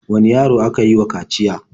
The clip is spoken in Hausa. Wane yaro aka yi wa kaciya?